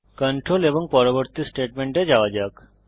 control এবং তারপর পরবর্তী স্টেটমেন্টে যাওয়া যাক